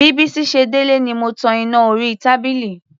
Bí Bísí ṣe délé ni mo tan iná orí tábìlì.